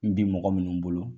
N bi mɔgɔ minnu bolo.